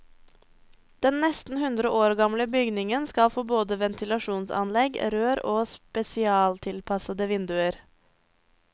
Den nesten hundre år gamle bygningen skal få både ventilasjonsanlegg, rør og spesialtilpassede vinduer.